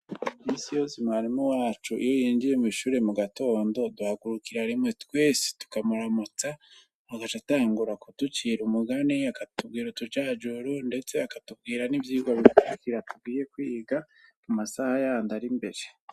Misi yose mwarimu wacu, iyo yinjiye mw'ishure mu gatondo, duhagurukira rimwe twese tukamutamutsa, agaca atangura kuducira umugani, akatubwira utujajuro, ndetse akatubwira n'ivyigwa bikurikira tugiye kwiga, mu masaha yandi ari imbere.